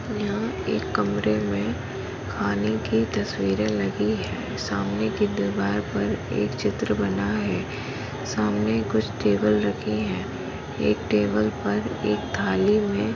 यहा एक कमरे मे खाने की तस्वीरे लगी है सामने की दीवार पर एक चित्र बना है। सामने कुछ टेबल रखे है। एक टेबल पर एक थाली मे --